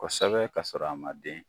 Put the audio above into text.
Kɔsɛbɛ ka sɔrɔ a ma den